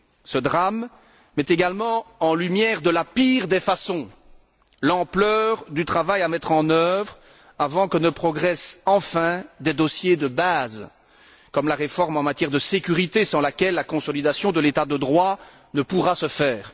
Ce drame met également en lumière, de la pire des façons, l'ampleur du travail à mettre en œuvre avant que ne progressent enfin des dossiers de base, comme la réforme en matière de sécurité, sans laquelle la consolidation de l'État de droit ne pourra se faire.